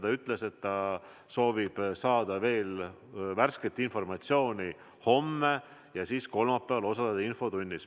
Ta ütles, et ta soovib homme saada veel värsket informatsiooni ja siis kolmapäeval ta osaleb infotunnis.